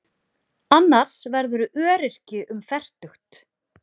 Annars verðurðu öryrki um fertugt.